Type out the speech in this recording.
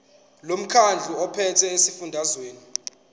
lomkhandlu ophethe esifundazweni